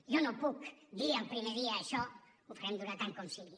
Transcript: jo no puc dir el primer dia això ho farem durar tant com sigui